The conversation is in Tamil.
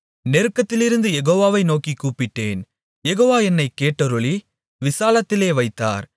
நெருக்கத்திலிருந்து யெகோவாவை நோக்கிக் கூப்பிட்டேன் யெகோவா என்னைக் கேட்டருளி விசாலத்திலே வைத்தார்